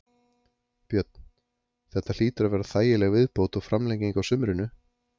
Björn: Þetta hlýtur að vera þægileg viðbót og framlenging á sumrinu?